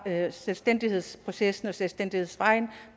selvstændighedsprocessen og selvstændighedsvejen